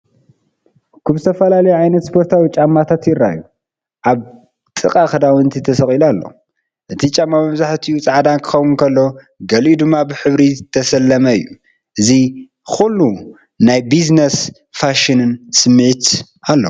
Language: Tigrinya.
እኩብ ዝተፈላለዩ ዓይነታት ስፖርታዊ ጫማታት ይረአዩ። ኣብ ጥቓኡ ክዳውንቲ ተሰቒሉ ኣሎ። እቲ ጫማ መብዛሕትኡ ጻዕዳ ክኸውን ከሎ፡ ገሊኡ ድማ ብሕብሪ ዝተሰለመ እዩ። ካብዚ ኩሉ ናይ ቢዝነስን ፋሽንን ስምዒት ኣሎ።